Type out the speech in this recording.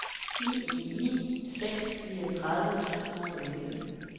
ni ni ni seks niogtredive to hundrede og elleve